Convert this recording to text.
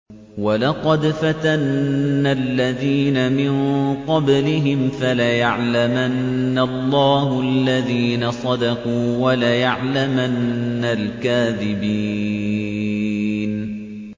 وَلَقَدْ فَتَنَّا الَّذِينَ مِن قَبْلِهِمْ ۖ فَلَيَعْلَمَنَّ اللَّهُ الَّذِينَ صَدَقُوا وَلَيَعْلَمَنَّ الْكَاذِبِينَ